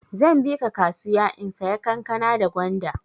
Zan bika kasuya in saya kankana da gwanda.